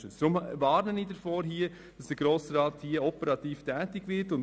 Deshalb warne ich davor, als Grosser Rat hier operativ tätig zu werden?